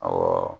Awɔ